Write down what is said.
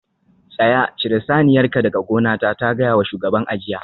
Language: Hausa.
Tsaya! cire saniyarka daga gonata ta gaya wa shugaban a jiya